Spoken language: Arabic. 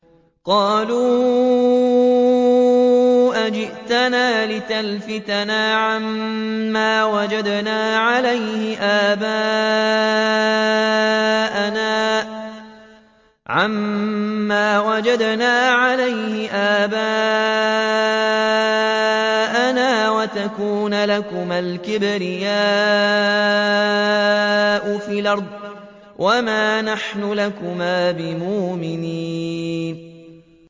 قَالُوا أَجِئْتَنَا لِتَلْفِتَنَا عَمَّا وَجَدْنَا عَلَيْهِ آبَاءَنَا وَتَكُونَ لَكُمَا الْكِبْرِيَاءُ فِي الْأَرْضِ وَمَا نَحْنُ لَكُمَا بِمُؤْمِنِينَ